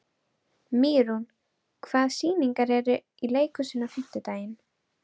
Mýrún, hvaða sýningar eru í leikhúsinu á fimmtudaginn?